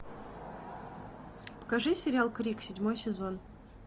покажи сериал крик седьмой сезон